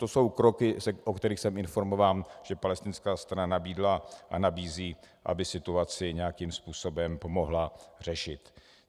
To jsou kroky, o kterých jsem informován, že palestinská strana nabídla a nabízí, aby situaci nějakým způsobem pomohla řešit.